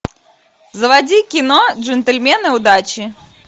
заводи кино джентельмены удачи